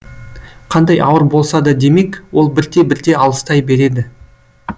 қандай ауыр болса да демек ол бірте бірте алыстай береді